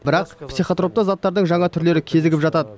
бірақ психотропты заттардың жаңа түрлері кезігіп жатады